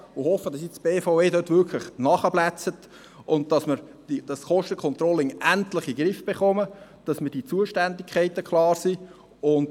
Ich hoffe, dass die BVE dort jetzt wirklich nachbessert, damit man das Kostencontrolling endlich in den Griff bekommt und die Zuständigkeiten klar sind.